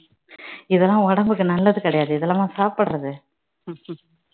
இதெல்லாம் உடம்புக்கு நல்லது கிடையாது இதெல்லாமா சாப்பிடறது